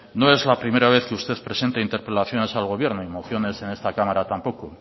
no es la primera vez que usted presenta interpelaciones al gobierno y mociones en esta cámara tampoco